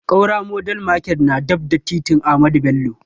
Ƙaura modern market na daf da titin ahamadu bello